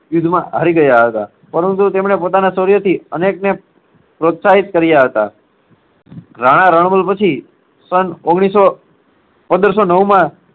યુદ્ધમાં હારી ગયા હતા. પરંતુ તેમણે પોતાના શૌર્યથી અનેકને પ્રોત્સાહિત કાર્ય હતા. રાણા રણ પછી સન ઓગણીસ સો, પંદર સો નવમાં